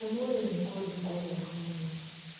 Lĩmuru nĩ kũndũ kwĩ heho mũno